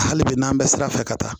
Hali bi n'an bɛ sira fɛ ka taa